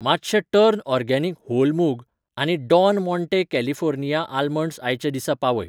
मातशें टर्न organic whole मूंग आनी डॉन माँटे कॅलिफोर्निया आमंड्स आयचे दिसा पावय.